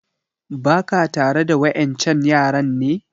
Ba ka tare da wa ƴan can yaran ne?